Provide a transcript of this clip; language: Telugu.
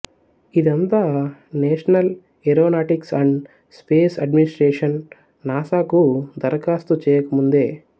ఇదంతా National Aeronautics and Space Administration NASA కు దరఖాస్తు చేయక ముందే